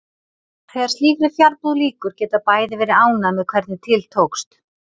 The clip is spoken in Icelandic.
Þegar slíkri fjarbúð lýkur geta bæði verið ánægð með hvernig til tókst.